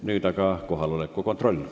Nüüd aga teeme kohaloleku kontrolli.